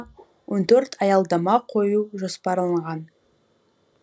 он төрт аялдама қою жоспарланған